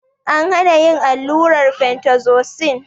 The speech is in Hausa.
An hana yin allurar fentazosin